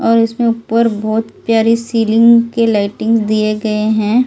और इसमें ऊपर बहुत प्यारी सीलिंग के लाइटिंग दिए गए हैं।